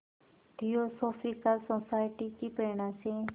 theosophical Society की प्रेरणा से